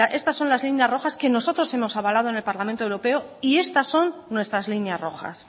estas son las líneas rojas que nosotros hemos avalado en el parlamento europeo y estas son nuestras líneas rojas